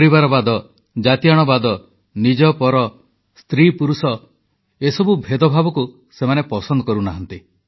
ପରିବାରବାଦ ଜାତିଆଣ ପରଆପଣା ମହିଳାପୁରୁଷ ଏସବୁ ଭେଦଭାବକୁ ସେମାନେ ପସନ୍ଦ କରୁନାହାନ୍ତି